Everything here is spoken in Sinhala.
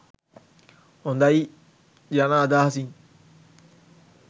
හොඳයි යන අදහසින්